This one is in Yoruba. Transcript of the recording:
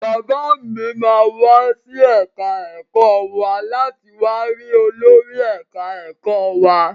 Bàbá mi máa wá sí ẹ̀ka ẹ̀kọ́ wa láti wá ri olórí ẹ̀ka ẹ̀kọ́ wa.